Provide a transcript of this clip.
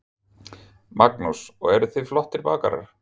Magnús: Og eru þið flottir bakarar?